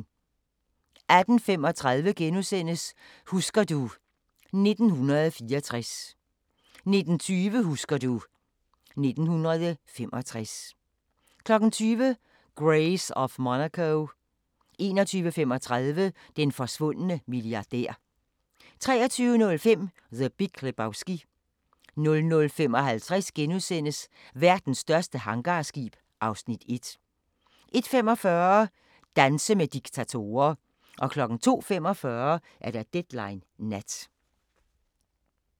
18:35: Husker du... 1964 * 19:20: Husker du ... 1965 20:00: Grace of Monaco 21:35: Den forsvundne milliardær 23:05: The Big Lebowski 00:55: Verdens største hangarskib (Afs. 1)* 01:45: Danse med diktatorer 02:45: Deadline Nat